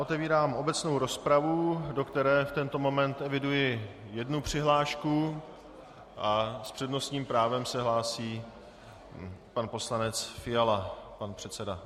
Otevírám obecnou rozpravu, do které v tento moment eviduji jednu přihlášku, a s přednostním právem se hlásí pan poslanec Fiala, pan předseda.